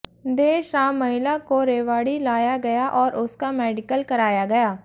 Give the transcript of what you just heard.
देर शाम महिला को रेवाड़ी लाया गया और उसका मेडिकल कराया गया